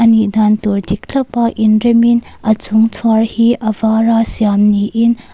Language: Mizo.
nih dan tur dik thlapa inremin a chhung chhuar hi a vara siam niin a--